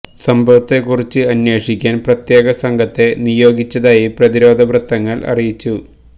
സംഭവത്തെ കുറിച്ച് അന്വേഷിക്കാൻ പ്രത്യേക സംഘത്തെ നിയോഗിച്ചതായി പ്രതിരോധ വൃത്തങ്ങൾ അറിയിച്ചു